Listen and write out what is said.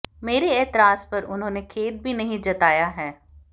मेरे ऐतराज पर उन्होंने खेद भी नहीं जताया है